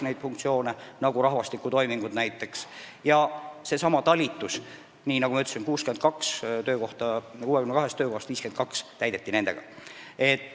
Neid funktsioone võtsid üle ka omavalitsused ja nagu ma ütlesin, täideti nendesamade talituste 62 töökohast 52 nende inimestega.